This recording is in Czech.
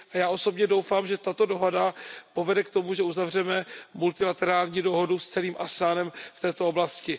Já osobně doufám, že tato dohoda povede k tomu, že uzavřeme multilaterální dohodu s celým sdružením ASEAN v této oblasti.